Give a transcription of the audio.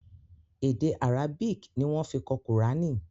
Èdè Arabic ni wọ́n fi kọ kùránì.